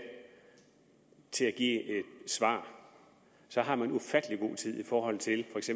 til at give et svar så har man ufattelig god tid i forhold til hvis